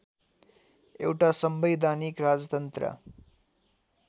एउटा संवैधानिक राजतन्त्र